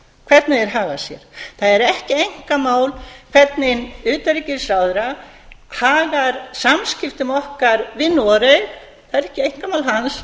hvernig þeir haga sér það er ekki einkamál hvernig utanríkisráðherra hagar samskiptum okkar vinnu og í raun er það ekki einkamál hans